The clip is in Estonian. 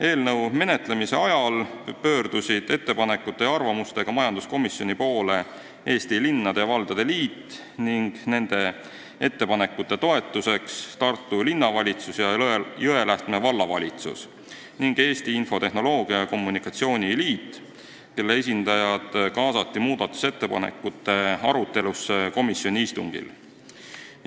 Eelnõu menetlemise ajal pöördusid ettepanekute ja arvamustega majanduskomisjoni poole Eesti Linnade ja Valdade Liit ning nende ettepanekute toetuseks Tartu Linnavalitsus ja Jõelähtme Vallavalitsus ning Eesti Infotehnoloogia ja Telekommunikatsiooni Liit, kelle esindajad kaasati muudatusettepanekute arutelusse komisjoni istungil.